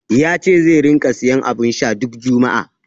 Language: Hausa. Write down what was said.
Ya ce zai ringa siyan abun sha duk juma'a.